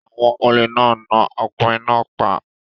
Àwọn olè náà na ọkùnrin náà pa.